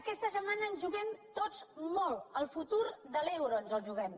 aquesta setmana ens juguem tots molt el futur de l’euro ens el juguem